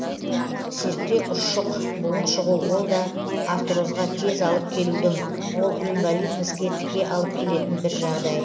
серікте ұршық буын шығу ол да артрозға тез алып келудің ол инвалидностьке тіке алып келетін бір жағдай